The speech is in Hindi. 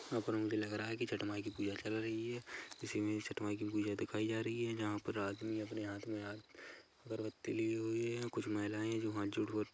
यहाँ पर मुझे लग रहा है की छठ माई की पूजा चल रही है इस इमेज छठ माई की पूजा दिखाई जा रही है जंहाँ पर आदमी अपने हाथ में हाथ अगरबत्ती लिए हुए है कुछ महिलाये है जो हाथ जोड़ कर--